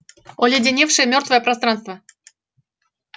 оледеневшее мёртвое пространство